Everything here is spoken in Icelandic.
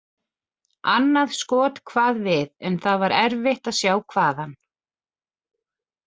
Annað skot kvað við, en það var erfitt að sjá hvaðan.